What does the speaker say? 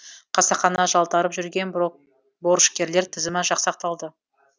қасақана жалтарып жүрген борышкерлер тізімі жасақталды